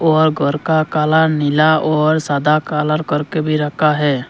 और घर का काला नीला और सादा कालार करके भी रखा है।